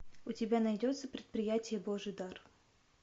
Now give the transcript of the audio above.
у тебя найдется предприятие божий дар